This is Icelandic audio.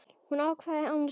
Hann hváði annars hugar.